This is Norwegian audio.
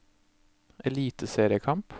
eliteseriekamp